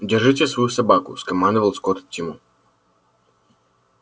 держите свою собаку скомандовал скотт тиму